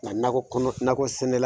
Nka nakɔ kɔnɔ nakɔ sɛnɛla